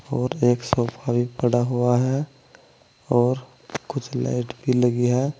और एक सोफा भी पड़ा हुआ है और कुछ लाइट भी लगी है।